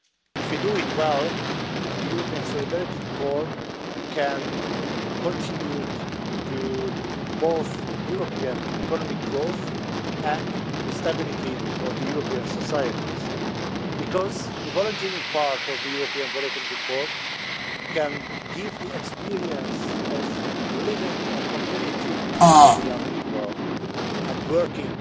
If we do it well the European Solidarity Corps can contribute to both European economic growth and the stability of European societies, because the volunteering part of the European Solidarity Corps can give the experience of living in a community for young people and working